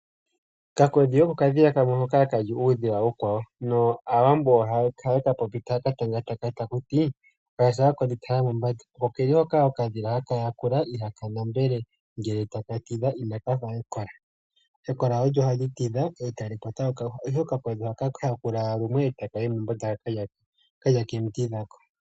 Okakodhi oko okadhila hoka haka li uudhila uukwa wo. Aawambo ohaye ka tanga taya ti walya shaka kodhi tala mombanda. Ohaka yakula taka endelele ngele taka tidhi inaka fa ekola. Ekola ohali tidha otali kwata okayuhwa ihe okakodhi ohaka yakula ashike lumwe eta ka yi mombanda.